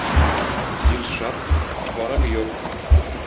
дильшат воробьев